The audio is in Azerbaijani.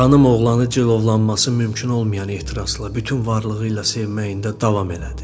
Xanım oğlanı cilovlanması mümkün olmayan ehtirasla bütün varlığı ilə sevməyində davam elədi.